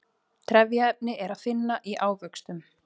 trefjaefni er að finna í ávöxtum